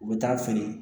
U bɛ taa feere